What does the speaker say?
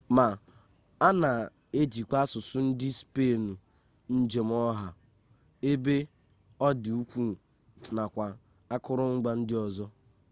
ma a na-ejikwa asụsụ ndị spenụ njem ọha ebe ọ dị ukwuu nakwa akụrụngwa ndị ọzọ